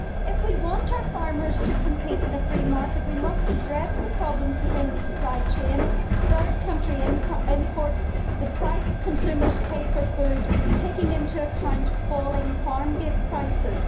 If we want our farmers to compete in a free market, we must address the problems within the supply chain, third country imports and the price consumers pay for food, taking into account falling farm gate prices.